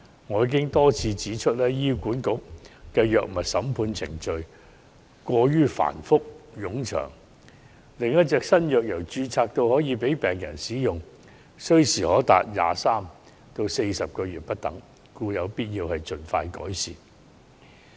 我已多次指出，醫院管理局的藥物審批程序過於繁複冗長，新藥由註冊到可供病人使用需時長達23個月至40個月不等，故有必要盡快改善。